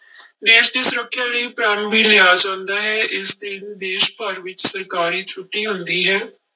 ਦੇਸ ਦੀ ਸੁਰੱਖਿਆ ਲਈ ਪ੍ਰਣ ਵੀ ਲਿਆ ਜਾਂਦਾ ਹੈ ਇਸ ਦਿਨ ਦੇਸ ਭਰ ਵਿੱਚ ਸਰਕਾਰੀ ਛੁੱਟੀ ਹੁੰਦੀ ਹੈ।